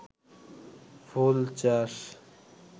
ফুল চাষ